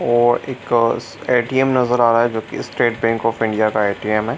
और एक ए.टी.एम. नजर आ रहा है जो की State Bank of India ATM. है।